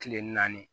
Kile naani